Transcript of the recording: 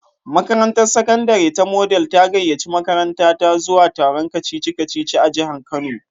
Makarantar sakandare ta Model ta gayyaci makarantata zuwa taron kacici-kaci a jihar kano.